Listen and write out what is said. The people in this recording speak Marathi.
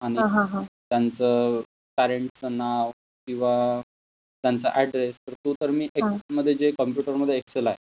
आणि त्यांच पर्रेंट च नाव किंवा त्यांचा एड्रेस तर तो तर मि एक्सेल मध्ये जे कंप्यूटर मध्ये एक्सेल आहे,